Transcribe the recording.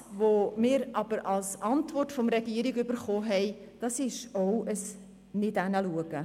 Was wir von der Regierung als Antwort erhalten haben, ist auch ein Nicht-Hinschauen.